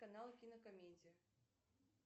канал кинокомедия